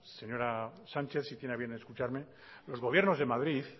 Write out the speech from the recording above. señora sánchez si tiene a bien escucharme los gobiernos de madrid